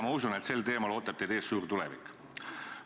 Ma usun, et sel teemal ootab teid ees suur tulevik.